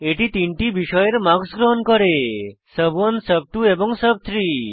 এটি তিনটি বিষয়ের মার্কস গ্রহণ করে সুব1 সুব2 এবং সুব3